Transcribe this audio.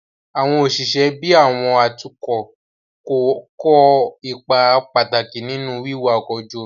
Àwọn òṣìṣẹ́ bíi àwọn atukọ̀ kó ipa pàtàkì nínú wíwa ọkọ̀ ojú omi